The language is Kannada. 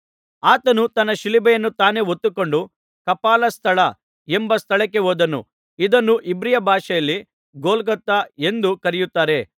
ಆತನು ತನ್ನ ಶಿಲುಬೆಯನ್ನು ತಾನೇ ಹೊತ್ತುಕೊಂಡು ಕಪಾಲಸ್ಥಳ ಎಂಬ ಸ್ಥಳಕ್ಕೆ ಹೋದನು ಇದನ್ನು ಇಬ್ರಿಯ ಭಾಷೆಯಲ್ಲಿ ಗೊಲ್ಗೊಥಾ ಎಂದು ಕರೆಯುತ್ತಾರೆ